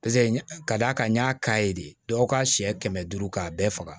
Paseke ɲa ka d'a kan n y'a k'a ye de dɔw ka siyɛ kɛmɛ duuru k'a bɛɛ faga